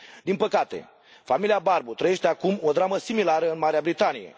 Din păcate, familia Barbu trăiește acum o dramă similară în Marea Britanie.